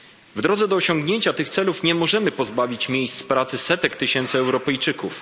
W drodze do osiągnięcia tych celów nie możemy pozbawić miejsc pracy setek tysięcy Europejczyków.